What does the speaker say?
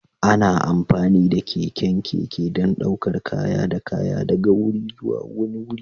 Ana amfani da keken keke don ɗaukar kaya da kaya daga wuri zuwa wani wuri.